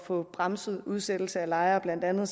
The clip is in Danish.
få bremset udsættelse af lejere blandt andet